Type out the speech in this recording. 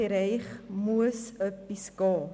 Hier muss etwas gehen.